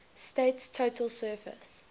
state's total surface